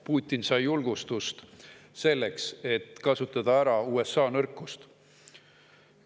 Putin sai julgustust selleks, et kasutada ära USA nõrkust.